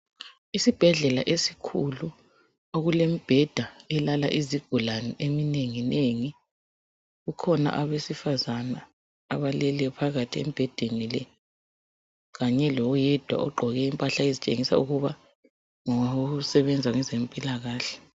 Isibhedlela esikhulu okulemibheda elala izigula eminenginengi. Kukhona abesifazane abaalele phakathi kwemibheda le kanye loyedwa ogqoke impahla okukhanya ukuba ngosebenza kwezempilakahle.